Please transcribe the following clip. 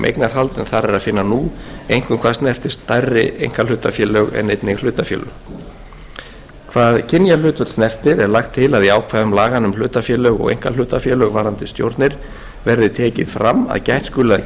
eignarhald en þar er að finna nú einkum hvað snertir stærri einkahlutafélög en einnig hlutafélög hvað kynjahlutföll snertir er lagt til að í ákvæðum laganna um hlutafélög og einkahlutafélög varðandi stjórnir verði tekið fram að gætt skuli að